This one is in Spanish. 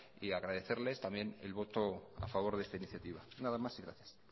y agradecerles también el voto a favor de esta iniciativa nada más y gracias